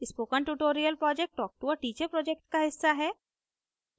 spoken tutorial project talktoa teacher project का हिस्सा है